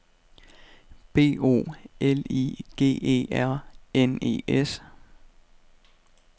B O L I G E R N E S